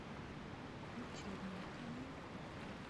котельниками